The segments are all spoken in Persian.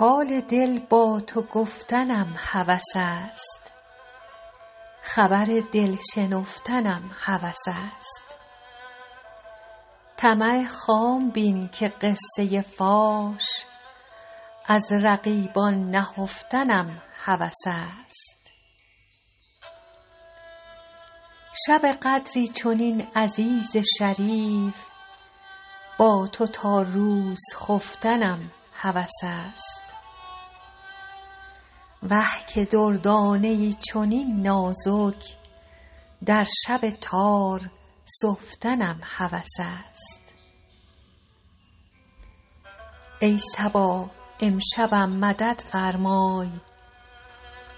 حال دل با تو گفتنم هوس است خبر دل شنفتنم هوس است طمع خام بین که قصه فاش از رقیبان نهفتنم هوس است شب قدری چنین عزیز شریف با تو تا روز خفتنم هوس است وه که دردانه ای چنین نازک در شب تار سفتنم هوس است ای صبا امشبم مدد فرمای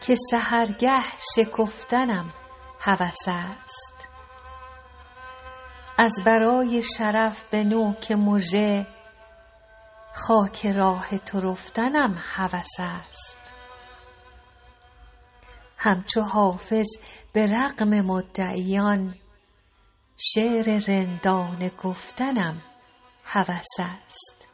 که سحرگه شکفتنم هوس است از برای شرف به نوک مژه خاک راه تو رفتنم هوس است همچو حافظ به رغم مدعیان شعر رندانه گفتنم هوس است